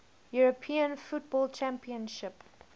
european football championship